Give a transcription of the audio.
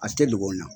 A tɛ dugu la